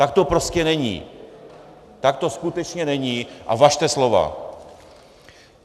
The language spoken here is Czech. Tak to prostě není, tak to skutečně není a važte slova!